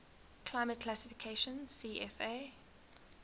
climate classification cfa